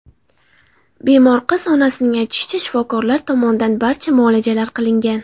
Bemor qiz onasining aytishicha, shifokorlar tomonidan barcha muolajalar qilingan.